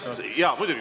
Jaa, muidugi.